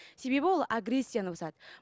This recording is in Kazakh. себебі ол агрессияны басады